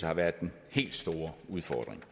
har været den helt store udfordring